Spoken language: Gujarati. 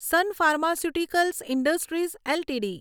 son Pharmaceuticals Industries LTD